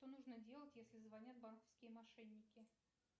что нужно делать если звонят банковские мошенники